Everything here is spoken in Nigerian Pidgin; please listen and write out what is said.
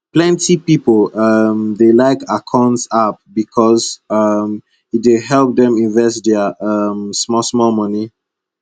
plenty pipo um dey like acorns app becos um e dey help dem invest dia um small small moni